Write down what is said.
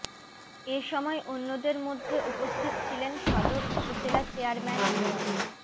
এ সময় অন্যদের মধ্যে উপস্থিত ছিলেন সদর উপজেলা চেয়ারম্যান মো